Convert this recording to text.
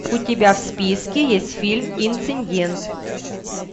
у тебя в списке есть фильм инцидент